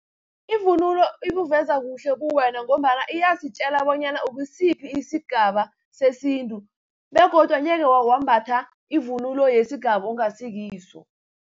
Ivunulo ibuveza kuhle ubuwena, ngombana iyasitjela bonyana ukusiphi isigaba sesintu, begodu angeke wambatha ivunulo yesigaba ongasikiso.